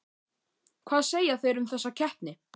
Hvað segja þeir um þessa keppni?